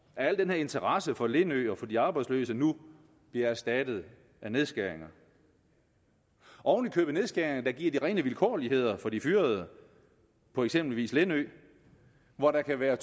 at al den her interesse for lindø og de arbejdsløse nu bliver erstattet af nedskæringer oven i købet nedskæringer der giver de rene vilkårligheder for de fyrede på eksempelvis lindø hvor der kan være